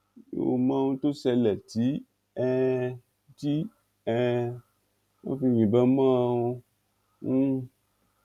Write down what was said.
n ò mọ ohun tó ṣẹlẹ tí um tí um wọn fi yìnbọn mọ́ ọn um